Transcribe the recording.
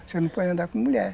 Você não pode andar com mulher.